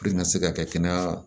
Puruke n ka se ka kɛ kɛnɛya